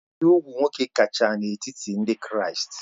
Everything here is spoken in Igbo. Ibi úgwù nwoke kacha n'etiti ndị Kraịst